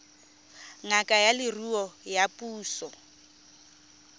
ngaka ya leruo ya puso